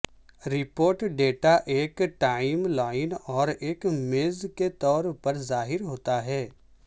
report data ایک timeline اور ایک میز کے طور پر ظاہر ہوتا ہے